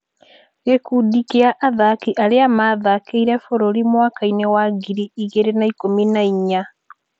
Gĩkundi kĩa athaki arĩa mathakĩire bũrũri mwaka- inĩ wa ngiri igĩrĩ na ikũmi na inya.